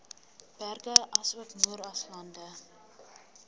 berge asook moeraslande